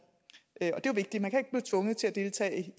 det er jo vigtigt man kan ikke tvunget til at deltage i at